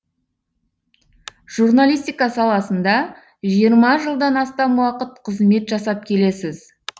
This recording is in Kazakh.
журналистика саласында жиырма жылдан астам уақыт қызмет жасап келесіз